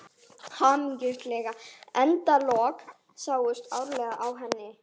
Hamingjusamleg endalokin sátu áreiðanlega í henni.